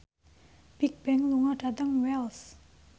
Bigbang lunga dhateng Wells